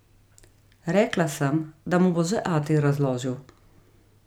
Rekla sem, da mu bo že ati razložil.